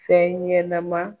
Fɛnɲɛnɛma.